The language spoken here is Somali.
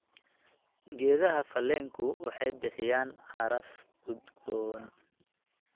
Geedaha faleenku waxay bixiyaan caraf udgoon.